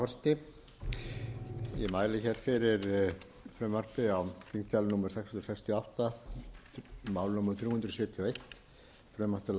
og í rauninni hluti af því frumvarpi sem við ræddum hér áðan um breytingu á lögum um stjórn fiskveiða